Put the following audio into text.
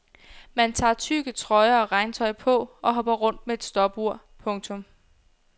Man tager tykke trøjer og regntøj på og hopper rundt med et stopur. punktum